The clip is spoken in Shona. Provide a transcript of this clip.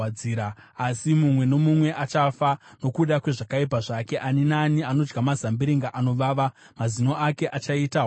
Asi, mumwe nomumwe achafa nokuda kwezvakaipa zvake; ani naani anodya mazambiringa anovava, mazino ake achaita hwadzira.